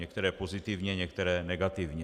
Některé pozitivně, některé negativně.